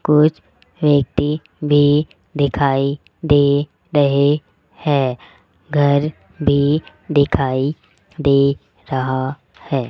कुछ व्यक्ति भी दिखाई दे रहे हैं घर भी दिखाई दे रहा है।